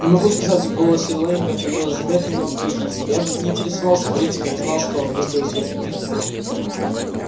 не могу сказать в голосе лэннинга появились заметные нотки ехидства я не интересовался политикой и не знал что он выставил свою кандидатуру